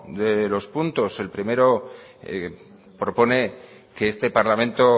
de los puntos el primero propone que este parlamento